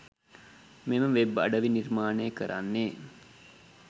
මෙම වෙබ් අඩවි නිර්මාණය කරන්නේ